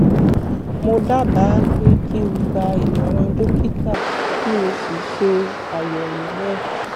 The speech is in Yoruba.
mo dábàá pé kí o gba ìmọ̀ràn dókítà kí o sì ṣe àyẹ̀wò náà